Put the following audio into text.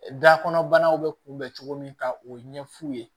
Da kɔnɔbanaw bɛ kunbɛn cogo min ka o ɲɛ f'u ye